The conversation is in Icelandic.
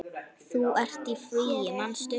Þú ert í fríi, manstu?